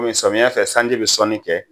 samiyɛ fɛ sanji bɛ sɔnni kɛ